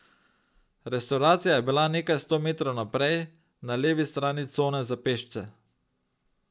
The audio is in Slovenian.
Restavracija je bila nekaj sto metrov naprej, na levi strani cone za pešce.